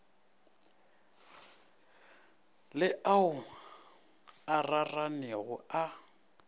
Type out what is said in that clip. le ao a raranego a